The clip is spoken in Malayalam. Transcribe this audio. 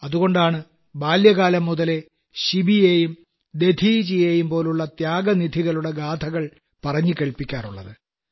അതുകൊണ്ടാണ് ബാല്യകാലം മുതലേ ശിബിയേയും ദധീചിയേയും പോലുള്ള ത്യാഗനിധികളുടെ ഗാഥകൾ പറഞ്ഞു കേൾപ്പിക്കാറുള്ളത്